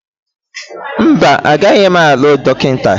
Mba, agaghị m alụ dọkịta